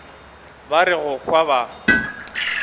ba re go hwa ba